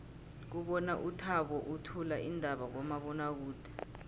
ngibona uthabo uthula iindaba kumabonwakude